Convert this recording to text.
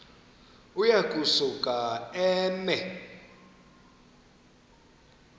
uya kusuka eme